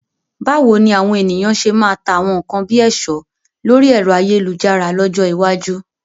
Báwo ni àwọn ènìyàn ṣe máa ta àwọn nkan bíi ẹ̀ṣọ́ lórí ẹ̀rọ ayélujára lọ́jọ́ iwájú?